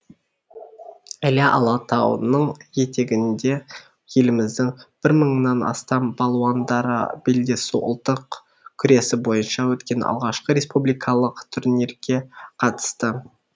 іле алатауының етегінде еліміздің бір мыңнан астам палуандары белдесу ұлттық күресі бойынша өткен алғашқы республикалық турнирге қатысты